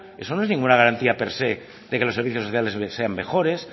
eso no es ninguna garantía per se de que los servicios sociales sean mejores